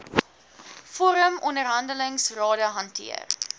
vorm onderhandelingsrade hanteer